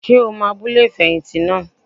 Ṣé o mọ abúlé ìfẹ̀yìntì naa?